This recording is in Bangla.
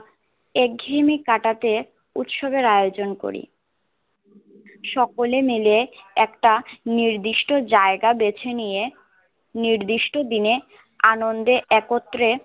এক ঘেয়েমি কাঁটাতে উৎসবের আয়োজন করি সকলে মিলে এটা নির্দিষ্ট জায়গা বেঁছে নিয়ে নির্দিষ্ট দিনে আন্দন